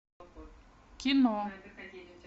кино